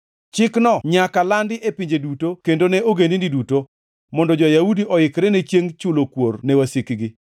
Chikno nyaka landi e pinje duto kendo ne ogendini duto, mondo jo-Yahudi oikre ne chiengʼ chulo kuor ne wasikgi.